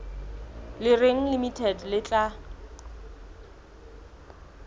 le reng limited le tla